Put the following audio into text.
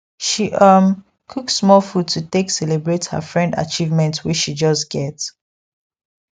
she um cook small food to take celebrate her friend achievement wey she just get